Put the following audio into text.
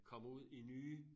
Kommer ud i nye